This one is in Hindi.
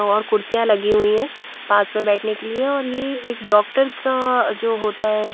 और कुर्सियाँ लगी हुई है पास में बैठने के लिए और ये एक डॉक्टर का जो होता है --